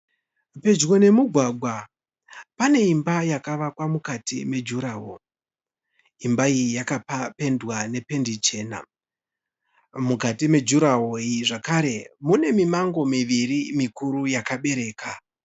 Pedyo nemugwagwa pane imba yakavakwa mukati mejurahoro. Imba iyi yakapendwa nependi chena, mukati mejurahoro iyi zvakare mune mimango miviri mukuru yakabereka